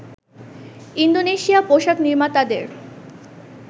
Indonesia পোশাক নির্মাতাদের